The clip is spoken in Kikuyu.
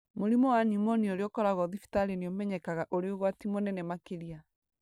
Mũrimũ wa pneumonia ũrĩa ũkoragwo thibitarĩ nĩ ũmenyekaga ũrĩ ũgwati mũnene makĩria.